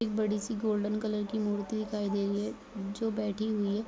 एक बड़ी सी गोल्डन कलर की मूर्ति दिखाई दे रही है जो बैठी हुई है।